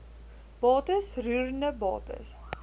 bates roerende bates